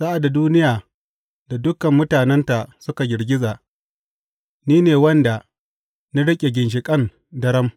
Sa’ad da duniya da dukan mutanenta suka girgiza, ni ne wanda na riƙe ginshiƙan daram.